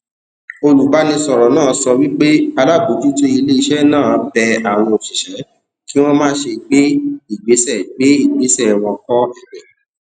olùbánisọrọ náà sọ wípé alábòjútó ilé iṣẹ náà bẹ àwọn òṣìṣẹ kí wọn máṣe gbé ìgbésẹ gbé ìgbésẹ wọn kọ ẹbẹ